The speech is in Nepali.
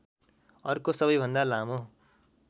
अर्को सबैभन्दा लामो